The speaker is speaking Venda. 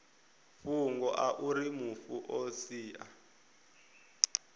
fhungo auri mufu o sia